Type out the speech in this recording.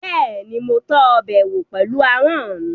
Bẹ́ẹ̀ni, mo tọ́ ọbẹ̀ wò pẹ̀lú ahọ́n mi